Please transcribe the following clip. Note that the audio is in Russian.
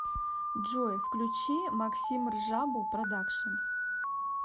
джой включи максимржабу продашкн